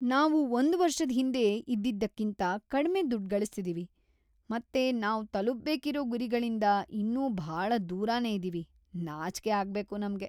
ನಾವು ಒಂದ್ ವರ್ಷದ್ ಹಿಂದೆ ಇದ್ದಿದ್ದಕ್ಕಿಂತ ಕಡ್ಮೆ ದುಡ್ಡ್‌ ಗಳಿಸ್ತಿದೀವಿ, ಮತ್ತೆ ನಾವ್‌ ತಲುಪ್ಬೇಕಿರೋ ಗುರಿಗಳಿಂದ ಇನ್ನೂ ಭಾಳ ದೂರನೇ ಇದೀವಿ. ನಾಚ್ಕೆ ಆಗ್ಬೇಕು ನಮ್ಗೆ!